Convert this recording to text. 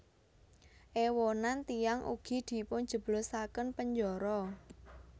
Èwonan tiyang ugi dipunjeblosaken penjara